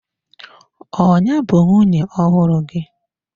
Ọ ya bụ nwunye ọhụrụ gị?